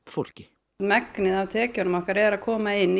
fólki upp megnið af tekjunum okkar eru að koma inn í